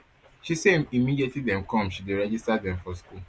she say immediately dem come she dey register dem for school